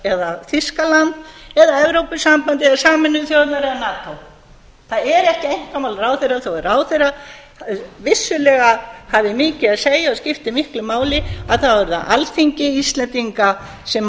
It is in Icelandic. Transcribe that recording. eða þýskaland s eða evrópusambandið eða sameinuðu þjóðirnar eða nato það er ekki einkamál ráðherra þó að ráðherra vissulega hafi mikið að segja og skipti miklu máli að þá er það alþingi íslendinga sem